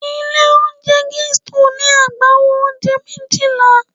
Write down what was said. Ilé-oúnjẹ Gusto ní agbawo oúnjẹ méjìlá.